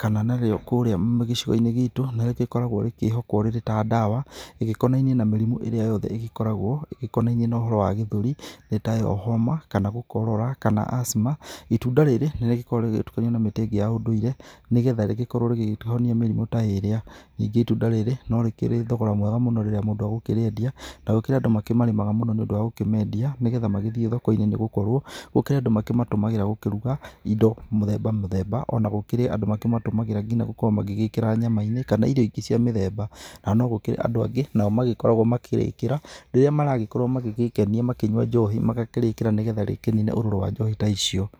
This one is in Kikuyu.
kana narĩo kũrĩa gĩcua-inĩ gĩtũ nĩ rĩgĩkoragwo rĩkĩhokwo rĩrĩ ta ndawa igĩkonainiĩ na mĩrimũ ĩrĩa yothe ĩgĩkoragwo ĩgĩkonainiĩ na ũhoro wa gĩthũri, nĩ tayo homa kana gũkorora kana asthma. Itunda rĩrĩ nĩ rĩgĩkoragwo rĩgĩtukanio na mĩtĩ ingĩ ya ũndũire nĩgetha rĩgĩkorwo rĩgĩteithia mĩrimũ ta ĩrĩa. Ningĩ itunda rĩrĩ no rĩkĩrĩ thogora mwega mũno rĩrĩa mũndũ egũkĩrĩendia na gũkĩrĩ andũ makĩmarĩmaga mũno nĩ ũndũ wa gũkĩmendia, nĩgetha magĩthiĩ thoko-inĩ nĩ gũkorwo gũkĩrĩ andũ makĩmatũmagĩra gũkĩruga indo mũthemba mũthemba. Ona gũkĩrĩ andũ makĩmatũmagĩra nginya gũkorwo magĩgĩkĩra nyama-inĩ kana irio ingĩ cia mũthemba. Na no gũkĩrĩ andũ angĩ nao magĩkoragwo makĩrĩkĩra rĩrĩa maragĩkorwo magĩgĩkenia makĩnyua njohi magakĩrĩkĩra nĩgetha rĩkĩnine ũrũrũ wa njohi ta icio.